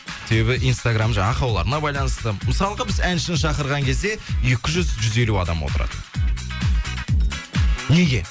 себебі инстаграмм жаңағы ақауларына байланысты мысалға біз әншіні шақырған кезде екі жүз жүз елу адам отырады неге